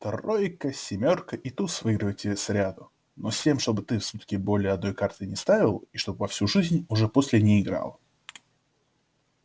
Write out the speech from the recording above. тройка семёрка и туз выиграют тебе сряду но с тем чтобы ты в сутки более одной карты не ставил и чтоб во всю жизнь уже после не играл